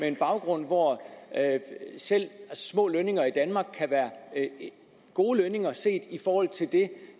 en baggrund hvor selv små lønninger i danmark kan være gode lønninger set i forhold til det